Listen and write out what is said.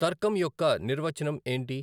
తర్కం యొక్క నిర్వచనం ఏంటి